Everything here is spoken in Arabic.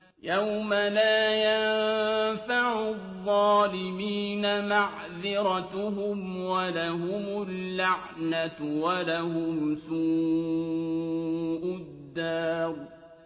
يَوْمَ لَا يَنفَعُ الظَّالِمِينَ مَعْذِرَتُهُمْ ۖ وَلَهُمُ اللَّعْنَةُ وَلَهُمْ سُوءُ الدَّارِ